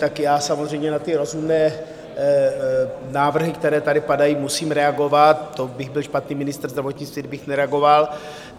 Tak já samozřejmě na ty rozumné návrhy, které tady padají, musím reagovat, to bych byl špatný ministr zdravotnictví, kdybych nereagoval.